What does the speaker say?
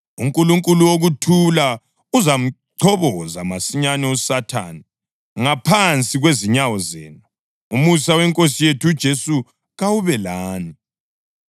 UNkulunkulu wokuthula uzamchoboza masinyane uSathane ngaphansi kwezinyawo zenu. Umusa weNkosi yethu uJesu kawube lani.